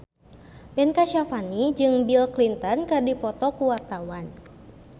Ben Kasyafani jeung Bill Clinton keur dipoto ku wartawan